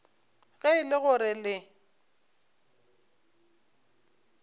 ge e le gore le